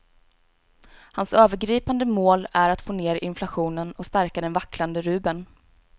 Hans övergripande mål är att få ner inflationen och stärka den vacklande rubeln.